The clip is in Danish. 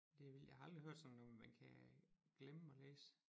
Det er vildt jeg har aldrig hørt sådan at man kan glemme at læse